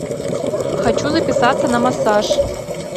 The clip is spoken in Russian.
хочу записаться на массаж